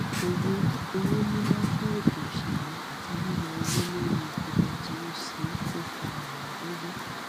owó owó níná fún ètò òṣèlú àti yíyọ owó lórí epo bẹtiró ṣe kó fa òwón gógó